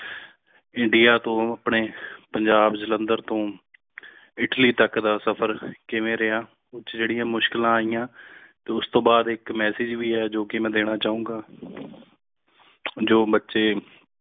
India ਤੋਂ ਆਪਣੇ Punjab Jalandhar Italy ਇਟਲੀ ਤਕ ਦਾ ਸਫਰ ਕਿਵੇਂ ਰਹਿਆ ਜੇੜੀਆਂ ਮੁਸ਼ਕਿਲਾਂ ਆਈਆਂ ਤੇ ਉਸ ਤੋਂ ਬਾਦ ਇਕ message ਵੀ ਹੈ ਜੋ ਕਿ ਮੇਂ ਦੇਣਾ ਚਾਹੁੰਗਾ ਜੋ ਬੱਚੇ